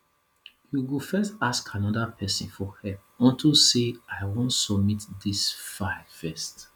you go fit ask another person for help unto say i wan submit dis file first